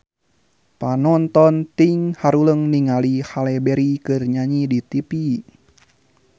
Panonton ting haruleng ningali Halle Berry keur nyanyi di tipi